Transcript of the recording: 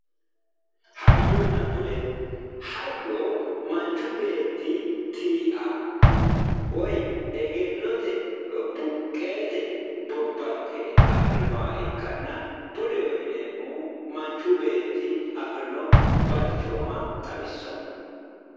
hayyonna bude hayyo manchu beetti tii'a woyi egennote buqqeete bobbanke afirinoha ikkanna budeho yineemmohu manchu beetti afirinoha balchooma xawissanno.